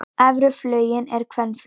Efri fuglinn er kvenfugl.